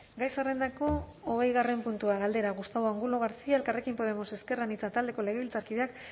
gai zerrendako hogeigarren puntua galdera gustavo angulo garcía elkarrekin podemos ezker anitza taldeko legebiltzarkideak